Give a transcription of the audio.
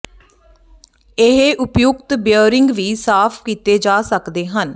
ਇਹ ਉਪਯੁਕਤ ਬੀਅਰਿੰਗ ਵੀ ਸਾਫ਼ ਕੀਤੇ ਜਾ ਸਕਦੇ ਹਨ